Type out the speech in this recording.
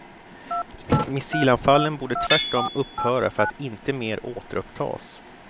Missilanfallen borde tvärtom upphöra för att inte mer återupptas.